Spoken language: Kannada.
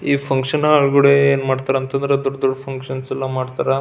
ಈ ಫಂಕ್ಷನ್ ಹಾಲ್ ಗುಡೆ ಏನು ಮಾಡ್ತಾರೆ ಅಂತಂದ್ರೆ ದೊಡ್ಡ ದೊಡ್ಡ ಫಂಕ್ಷನ್ಸ್ ಎಲ್ಲ ಮಾಡ್ತಾರೆ.